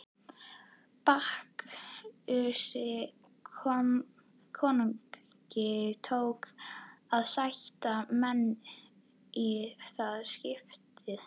Bakkusi konungi tókst að sætta menn í það skiptið.